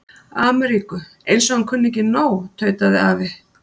Ameríku, eins og hann kunni ekki nóg, tautaði afi.